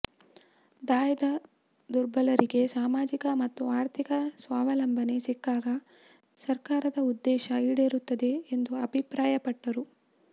ದಾಯದ ದುರ್ಬಲರಿಗೆ ಸಾಮಾಜಿಕ ಮತ್ತು ಆರ್ಥಿಕ ಸ್ವಾವಲಂಬನೆ ಸಿಕ್ಕಾಗ ಸರ್ಕಾರದ ಉದ್ದೇಶ ಈಡೇರುತ್ತದೆ ಎಂದು ಅಭಿಪ್ರಾಯಪಟ್ಟರು